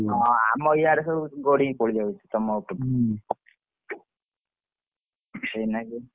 ହଁ ଆମ ଇଆଡେ ସବୁ ଗଡିକି ପଳେଇଯାଉଛି ତମ ଉପରେ ସେଇଲାଗି।